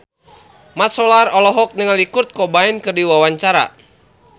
Mat Solar olohok ningali Kurt Cobain keur diwawancara